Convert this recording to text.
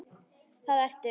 Það ertu.